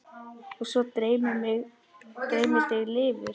Og svo dreymir þig lifur!